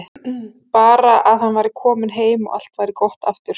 Bara að hann væri kominn heim og allt væri gott aftur.